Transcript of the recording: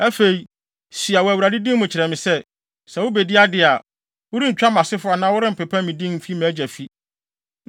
Afei, sua wɔ Awurade din mu kyerɛ me sɛ, sɛ wubedi ade a, worentwa mʼasefo anaa worempepa me din mfi mʼagya fi.”